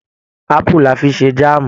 Apu la fi ṣe jaamu.